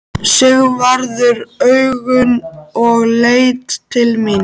Sigvarður augun og leit til mín.